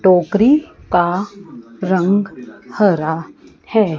टोकरी का रंग हरा है।